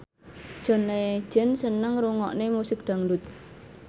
John Legend seneng ngrungokne musik dangdut